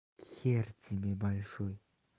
хер тебе большой